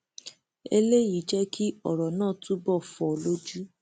eléyìí jẹ kí ọrọ náà túbọ fọ lójú